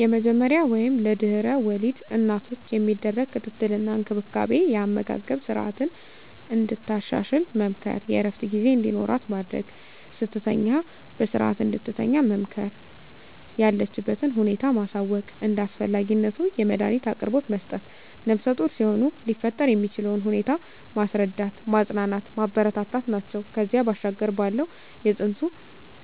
የመጀመሪያ ወይም ለድሕረ ወሊድ እናቶች የሚደረግ ክትትል እና እንክብካቤ የአመጋገብ ስረዓትን እንድታሻሽል መምከር፣ የእረፍት ጊዜ እንዲኖራት ማድረግ፣ ስትተኛ በስረዓት እንድትተኛ መምከር፣ የለችበትን ሁኔታ ማሳወቅ፣ እንደ አስፈላጊነቱ የመዳኒት አቅርቦት መስጠት፣ ነፍሰጡር ሲሆኑ ሊፈጠር የሚችለውን ሁኔታ ማስረዳት፣ ማፅናናት፣ ማበረታታት ናቸው። ከዚያ ባሻገር ባለው የፅንሱ